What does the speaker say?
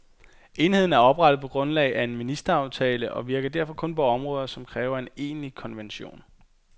Enheden er oprettet på grundlag af en ministeraftale, og virker derfor kun på områder, som ikke kræver en egentlig konvention.